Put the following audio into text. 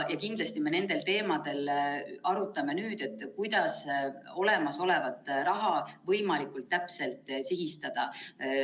Kindlasti me nendel teemadel arutame nüüd, kuidas olemasolevat raha võimalikult täpselt sihistada.